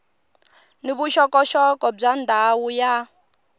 ni vuxokoxoko bya ndhawu ya